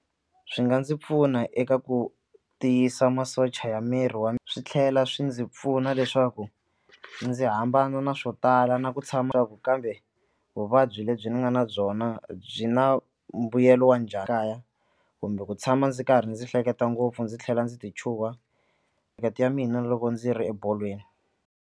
Swi nga ndzi pfuna eka ku tiyisa masocha ya miri wa swi tlhela swi ndzi pfuna leswaku ndzi hambana na swo tala na ku tshama ku kambe vuvabyi byi lebyi ni nga na byona byi na mbuyelo wa njhani kaya kumbe ku tshama ndzi karhi ndzi hleketa ngopfu ndzi tlhela ndzi tichuha ya mina loko ndzi ri ebolweni.